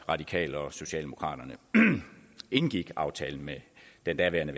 radikale og socialdemokraterne indgik aftalen med den daværende